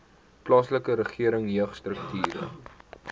plaaslike regering jeugstrukture